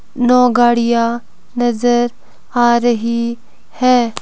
नौ गाड़िया नजर आ रही है।